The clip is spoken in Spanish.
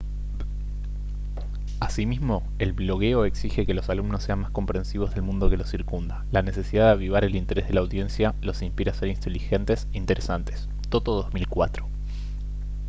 asimismo el blogueo «exige que los alumnos sean más comprensivos del mundo que los circunda». la necesidad de avivar el interés de la audiencia los inspira a ser inteligentes e interesantes toto 2004